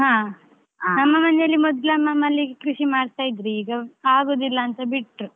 ಹ ಮನೆಯಲ್ಲಿ ಮೊದ್ಲು ಅಮ್ಮ ಮಲ್ಲಿಗೆ ಕೃಷಿ ಮಾಡ್ತಾ ಇದ್ವಿ ಈಗ ಆಗುದಿಲ್ಲ ಅಂತ ಬಿಟ್ರು.